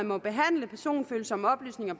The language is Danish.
må behandle personfølsomme oplysninger